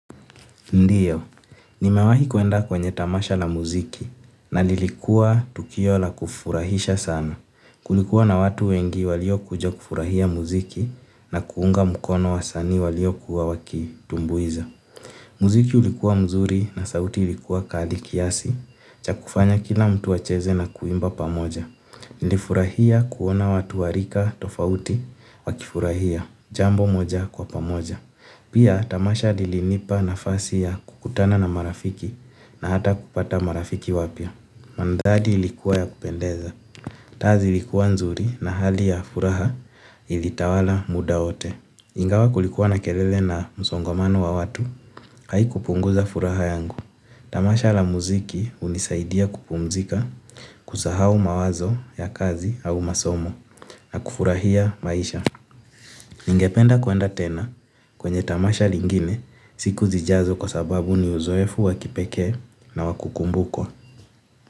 Ndiyo, nimewahi kuenda kwenye tamasha la muziki na lilikua tukio la kufurahisha sana. Kulikuwa na watu wengi walio kuja kufurahia muziki na kuunga mkono wasani walio kuwa wakitumbuiza. Muziki ulikuwa mzuri na sauti ulikuwa kadi kiasi, chakufanya kila mtu acheze na kuimba pamoja. Nlifurahia kuona watu warika tofauti wakifurahia, jambo moja kwa pamoja. Pia tamasha lilinipa nafasi ya kukutana na marafiki na hata kupata marafiki wapya. Mantari ilikuwa ya kupendeza. Taa zilikuwa nzuri na hali ya furaha ilitawala muda wote. Ingawa kulikuwa na kelele na msongomano wa watu, haiku punguza furaha yangu. Tamasha la muziki hunisaidia kupumzika kusahau mawazo ya kazi au masomo na kufurahia maisha. Ningependa kuenda tena kwenye tamasha lingine siku zijazo kwa sababu ni uzoefu wakipeke na wakukumbukwa.